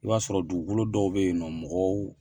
I b'a sɔrɔ dugukolo dɔw bɛ yen nɔ mɔgɔw